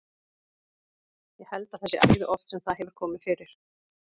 Ég held að það sé æði oft sem það hefur komið fyrir.